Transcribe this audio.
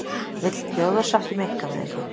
Vill þjóðarsátt um einkavæðingu